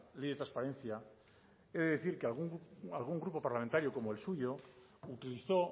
ley de transparencia he de decir que algún grupo parlamentario como el suyo utilizó